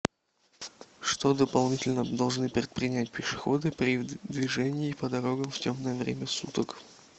что дополнительно должны предпринять пешеходы при движении по дорогам в темное время суток